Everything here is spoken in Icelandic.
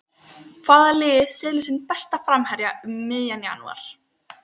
Hvaða lið selur sinn besta framherja um miðjan janúar?